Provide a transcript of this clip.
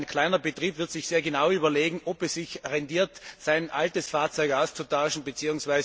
Ein kleiner Betrieb wird sich sehr genau überlegen, ob es sich rentiert, sein altes Fahrzeug auszutauschen bzw.